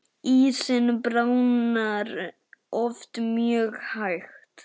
Ísinn bráðnar oft mjög hægt.